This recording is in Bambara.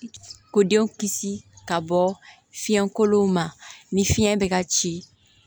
Ko denw kisi ka bɔ fiɲɛkolon ma ni fiɲɛ bɛ ka ci